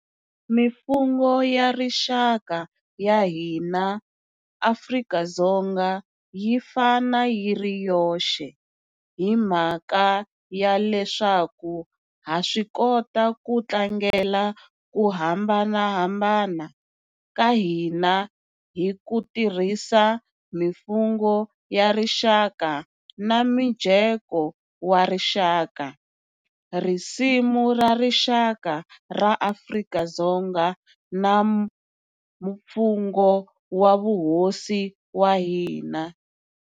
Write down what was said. Mifungho ya rixaka ya hina Afrika-Dzonga yi fana yi ri yoxe hi mhaka ya leswaku ha swikota ku tlangela ku hambanahambana ka hina hi ku tirhisa Mifungho ya Rixaka na Mujeko wa Rixaka, Risimu ra Rixaka ra AfrikaDzonga na Mfungho wa Vuhosi wa hina.